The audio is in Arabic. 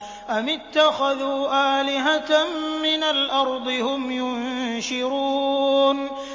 أَمِ اتَّخَذُوا آلِهَةً مِّنَ الْأَرْضِ هُمْ يُنشِرُونَ